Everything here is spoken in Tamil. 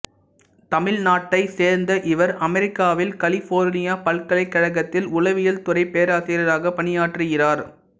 தமிழ்நாட்டைச் சேர்ந்த இவர் அமெரிக்காவில் கலிபோர்னியா பல்கலைக்கழகத்தில் உளவியல் துறைப் பேராசிரியராகப் பணியாற்றுகிறார்